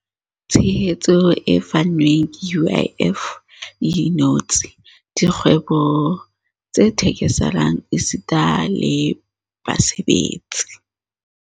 Tshehetso e fanweng ke UIF e inotse dikgwebo tse theke-selang esita le basebetsi.